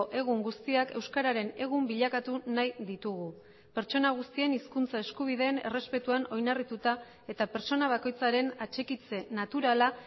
egun guztiak euskararen egun bilakatu nahi ditugu pertsona guztien hizkuntza eskubideen errespetuan oinarrituta eta pertsona bakoitzaren atxikitze naturala